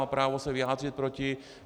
Má právo se vyjádřit proti.